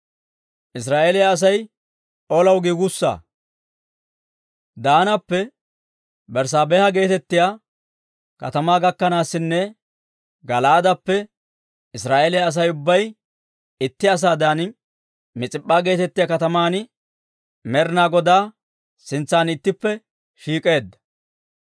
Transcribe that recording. Pudehaa Daanappe dugehaa Berssaabeha gakkanaasinne dolahaa Gala'aaden de'iyaa Israa'eeliyaa Asay ubbay itti asaadan Mis'ip'p'an Med'inaa Godaa sintsan ittippe shiik'eedda.